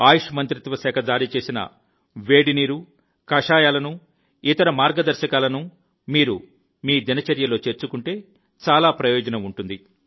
ఆయుష్ మంత్రిత్వ శాఖ జారీ చేసిన వేడి నీరు కషాయాలను ఇతర మార్గదర్శకాలను మీరు మీ దినచర్యలో చేర్చుకుంటే చాలా ప్రయోజనం ఉంటుంది